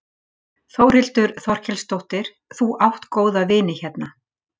Þórhildur Þorkelsdóttir: Þú átt góða vini hérna?